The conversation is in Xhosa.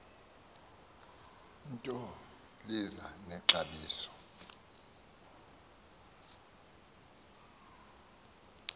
nto lichaze nexabiso